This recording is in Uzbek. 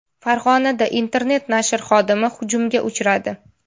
Farg‘onada internet-nashr xodimi hujumga uchradi.